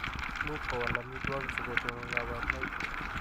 Much kowal amitwogik sikotonon kabarunoik.